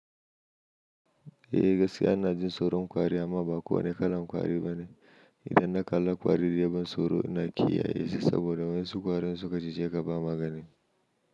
Eh gaskiya ina jin tsoron kwari amma ba kowane kalan kwari bane. Idan na kalla kwari da yabon tsoro ina kiyaye su saboda wasu kwari in suka cije ka ba magana.